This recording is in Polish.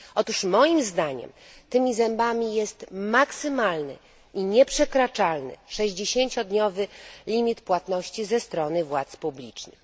Otóż moim zdaniem tymi zębami jest maksymalny i nieprzekraczalny sześćdziesięciodniowy termin płatności ze strony organów publicznych.